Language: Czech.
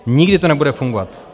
Nikdy to nebude fungovat.